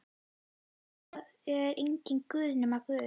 Það er enginn Guð nema Guð.